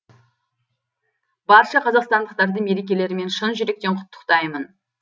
барша қазақстандықтарды мерекелерімен шын жүректен құттықтаймын